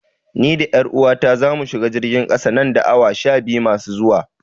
Ni da 'yar uwata zamu shiga jirgin ƙasa nan da awa sha biyu masu zuwa.